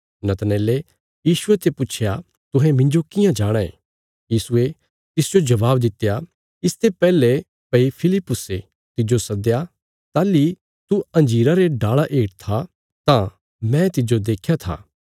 नतनएले यीशुये ते पुच्छया तुहें मिन्जो कियां जाणाँ यीशुये तिसजो जबाब दित्या इसते पैहले भई फिलिप्पुसे तिज्जो सद्दया ताहली तू अंजीरा रे डाल़ा हेठ था तां मैं तिज्जो देख्या था